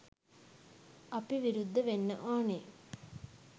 අපි විරුද්ධ වෙන්න ඕනේ.